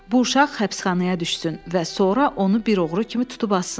Bu uşaq həbsxanaya düşsün və sonra onu bir oğru kimi tutub assınlar.